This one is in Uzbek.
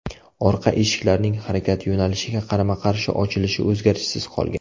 Orqa eshiklarning harakat yo‘nalishiga qarama-qarshi ochilishi o‘zgarishsiz qolgan.